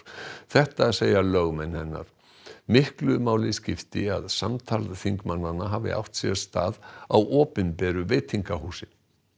þetta segja lögmenn hennar miklu máli skipti að samtal þingmannanna hafi átt sér stað á opinberu veitingahúsi